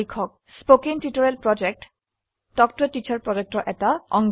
spoken tutorial talk ত a teacher প্ৰকল্পৰ অংশ